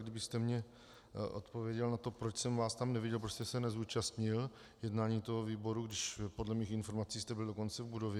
Kdybyste mi odpověděl na to, proč jsem vás tam neviděl, proč jste se nezúčastnil jednání toho výboru, když podle mých informací jste byl dokonce v budově.